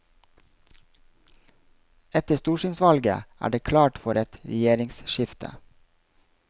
Etter stortingsvalget er det klart for et regjeringsskifte.